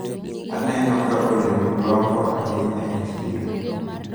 Aneno ka olemo lombo ahinya e chiro.